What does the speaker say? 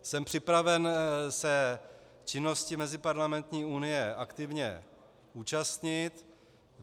Jsem připraven se činnosti Meziparlamentní unie aktivně účastnit.